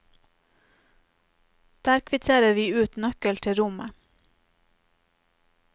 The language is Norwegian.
Der kvitterer vi ut nøkkel til rommet.